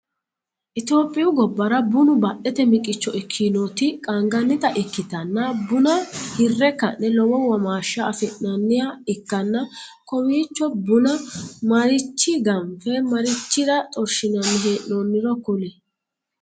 Itophiyu gobara buunu badhete miqicho ikinoti qaangannita ikitanna bunna hire ka'ne lowo womaasha afi'nanniha ikanna kowiicho bunna marichiya ganfe marichira xorshinanni hee'noonniro kuli?